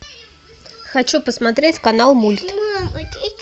хочу посмотреть канал мульт